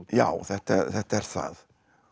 já þetta þetta er það